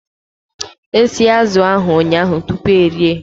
E sie azụ̀ ụnyahụ tupu erie